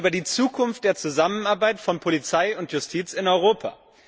Wir reden über die Zukunft der Zusammenarbeit von Polizei und Justiz in Europa.